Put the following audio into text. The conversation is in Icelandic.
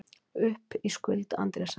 Upp í skuld Andrésar